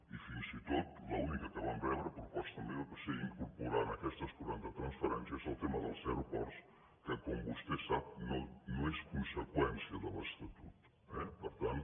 i fins i tot l’única que vam rebre proposta meva va ser incorporar a aquestes quaranta transferències el tema dels aeroports que com vostè sap no és conseqüència de l’estatut eh per tant